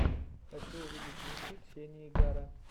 хочу увидеть миксы ксении гара